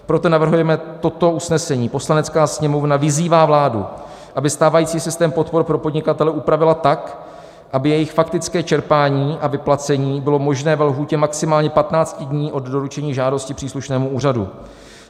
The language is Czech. Proto navrhujeme toto usnesení: "Poslanecká sněmovna vyzývá vládu, aby stávající systém podpor pro podnikatele upravila tak, aby jejich faktické čerpání a vyplacení bylo možné ve lhůtě maximálně 15 dní od doručení žádosti příslušnému úřadu.